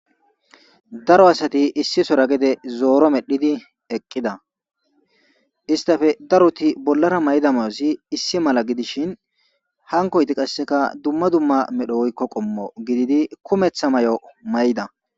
Daro asati issi sora gede zooro medhidi eqqida istafe daroti bollara mayda mayossi issi mala gidishin hankoyti qasseka dumma dumma medho woykko qommo gididi kumeththa may7o may7da.